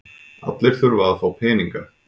Allir þurfa að fá peninga.